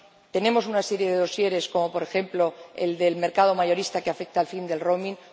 Tenemos una serie de dosieres, como, por ejemplo, el del mercado mayorista, que afecta al fin del roaming